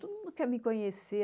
Todo mundo quer me conhecer.